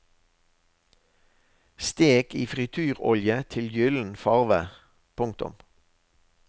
Stek i frityrolje til gyllen farve. punktum